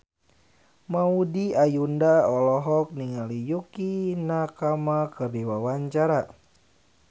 Maudy Ayunda olohok ningali Yukie Nakama keur diwawancara